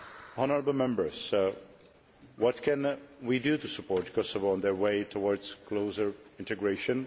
Honourable Members, what can we do to support Kosovo on its way towards closer integration?